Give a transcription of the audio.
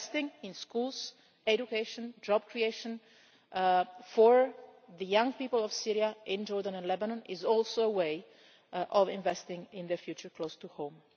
Investing in schools, education, job creation for the young people of Syria in Jordan and Lebanon is also a way of investing in their future close to home.